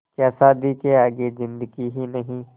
क्या शादी के आगे ज़िन्दगी ही नहीं